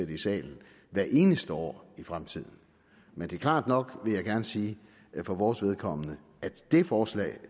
det i salen hvert eneste år i fremtiden men det er klart nok vil jeg gerne sige for vores vedkommende at det forslag